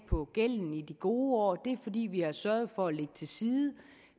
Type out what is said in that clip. på gælden i de gode år det er fordi vi har sørget for at lægge til side